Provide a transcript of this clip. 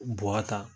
Bɔ ta